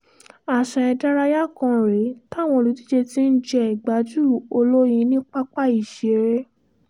àṣà ìdárayá kan rèé táwọn olùdíje ti ń jẹ́ ìgbájú olóyin ní pápá ìṣiré